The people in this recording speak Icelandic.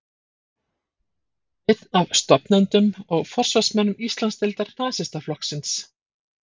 Einn af stofnendum og forsvarsmönnum Íslandsdeildar Nasistaflokksins.